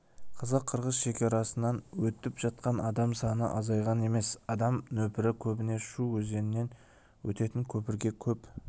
қазақ-қырғыз шекарасынан өтіп жатқан адам саны азайған емес адам нөпірі көбіне шу өзенінен өтетін көпірге көп